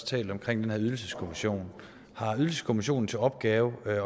talt om den her ydelseskommission har ydelseskommissionen til opgave